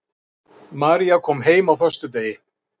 María kom heim á föstudegi.